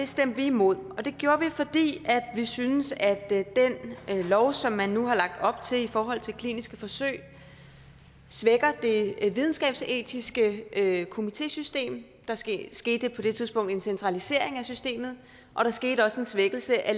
stemte vi imod det gjorde vi fordi vi synes at den lov som man nu har lagt op til i forhold til kliniske forsøg svækker det videnskabsetiske komitésystem der skete skete på det tidspunkt en centralisering af systemet og der skete også en svækkelse af